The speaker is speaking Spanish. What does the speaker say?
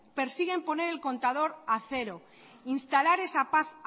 persiguen poner el contador a cero instalar esa paz